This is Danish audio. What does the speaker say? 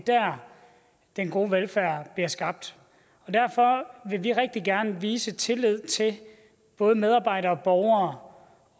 den gode velfærd bliver skabt og derfor vil vi rigtig gerne vise tillid til både medarbejdere og borgere